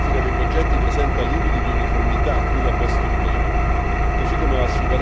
La distribuzione geografica dei progetti presenta limiti di uniformità, cui va posto rimedio.